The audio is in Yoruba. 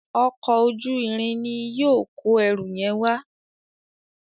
Ọkọ̀ ojú-irin ní yóò kọ ẹrù yen wá.